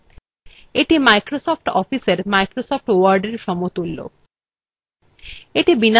এটি microsoft officeএর microsoft word এর সমতুল্য